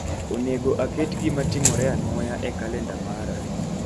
Oneg aket gima timore anwoya e kalenda mara